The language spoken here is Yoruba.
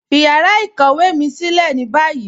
Fí yàrá ìkọ̀wé mi silẹ̀ ní báyì